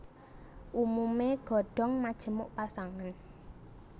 Umumé godhong majemuk pasangan